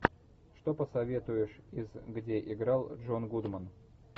что посоветуешь из где играл джон гудман